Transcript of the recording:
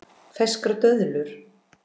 Ferskar döðlur